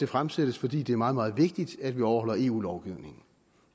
fremsat fordi det er meget meget vigtigt at vi overholder eu lovgivningen